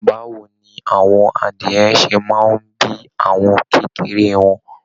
Báwo ni àwọn adìyẹ̀ ṣe máa n bí àwọn kékeré wọn?